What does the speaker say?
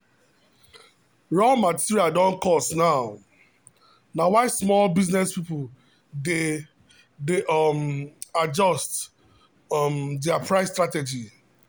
raw material don cost now na why small business people dey dey um adjust um their price strategy.